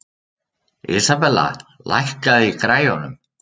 Isabella, lækkaðu í græjunum.